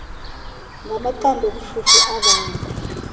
ngamaqondo obushushu abanda